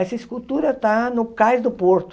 Essa escultura está no Cais do Porto.